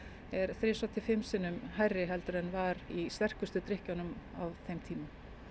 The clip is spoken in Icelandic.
er þrisvar til fimm sinnum hærri en var í sterkustu drykkjunum á þeim tíma